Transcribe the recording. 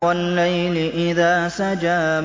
وَاللَّيْلِ إِذَا سَجَىٰ